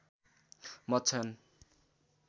मत छन्